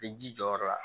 Bɛ ji jɔyɔrɔ la